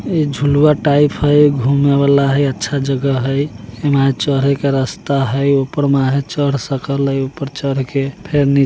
झुला टाइप है |घुमने वाला अच्छा जगह है | इसमें चलने का रास्ता है | उपर में चल सकते हैं |उपर चढ़ के--